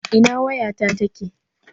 Ina wayata take?